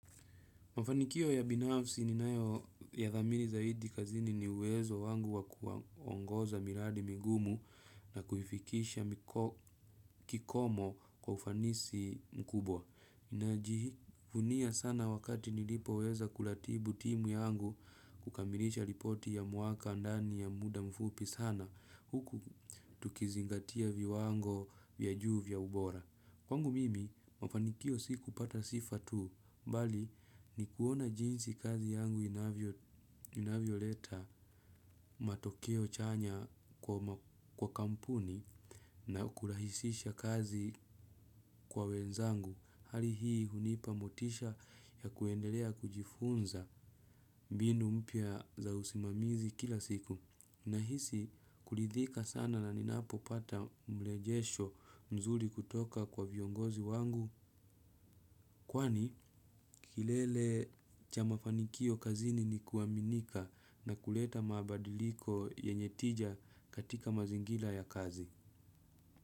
Mafanikio ya binafsi ninayoyathamini zaidi kazini ni uwezo wangu wa kuongoza miradi migumu na kuifikisha kikomo kwa ufanisi mkubwa. Najivunia sana wakati nilipoweza kuratibu timu yangu kukamilisha ripoti ya mwaka ndani ya muda mfupi sana huku tukizingatia viwango vya juu vya ubora. Kwangu mimi, mafanikio si kupata sifa tu, bali ni kuona jinsi kazi yangu inavyoleta matokeo chanya kwa kampuni na kurahisisha kazi kwa wenzangu. Hali hii hunipa motisha ya kuendelea kujifunza mbinu mpya za usimamizi kila siku. Nahisi kuridhika sana na ninapopata mrejesho mzuri kutoka kwa viongozi wangu kwani kilele cha mafanikio kazini ni kuaminika na kuleta mabadiliko yenye tija katika mazingira ya kazi.